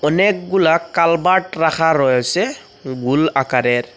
অনেকগুলা কালবার্ট রাখা রয়েসে গুল আকারের।